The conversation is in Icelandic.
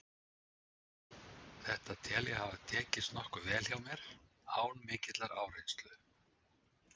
Þetta tel ég að hafi tekist nokkuð vel hjá mér, án mikillar áreynslu.